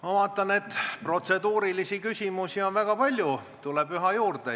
Ma vaatan, et protseduurilisi küsimusi on väga palju ja tuleb üha juurde.